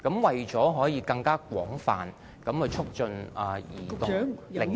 為了可以更廣泛促進現時的零售......